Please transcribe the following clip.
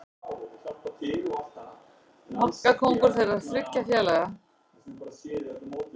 Markakóngur þriggja félaga